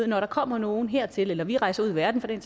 når der kommer nogen hertil eller vi rejser ud i verden for den